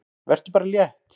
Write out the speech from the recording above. Vertu bara létt!